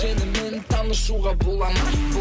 сенімен танысуға бола ма